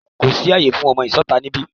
Kò sí àyè fún ọmọ ìsọta níbí!